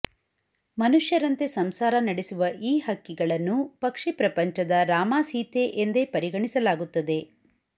ಮನುಷ್ಯರಂತೆ ಸಂಸಾರ ನಡೆಸುವ ಈ ಹಕ್ಕಿಗಳನ್ನು ಪಕ್ಷಿ ಪ್ರಪಂಚದ ರಾಮಸೀತೆ ಎಂದೇ ಪರಿಗಣಿಸಲಾಗುತ್ತದೆ